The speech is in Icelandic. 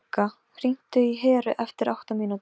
Álengdar sá í þvott á snúru og kamar.